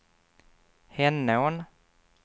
Henån